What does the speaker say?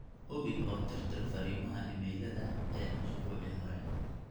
hubi oo tirtir fariimaha iimaylada ee usbuucii hore